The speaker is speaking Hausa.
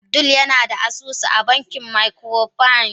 Abdul yana da asusu a bankin microfinance.